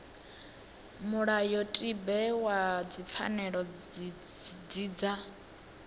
mulayotibe wa dzipfanelo dzi dza